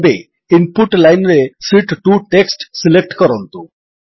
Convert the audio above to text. ଏବେ ଇନପୁଟ Lineରେ sheet 2 text select କରନ୍ତୁ